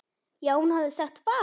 já, hún hafði sagt fagur!